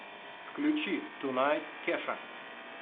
включи тунайт кеша